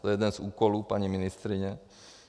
To je jeden z úkolů paní ministryně.